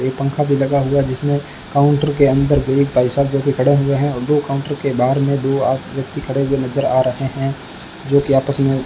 एक पंखा भी लगा हुआ जिसमें काउंटर के अंदर भी एक भाई साहब जो की खडे हुए है और दो काउंटर के बाहर मे दो आ व्यक्ति खडे हुए नज़र आ रहे है जो की आपस मे --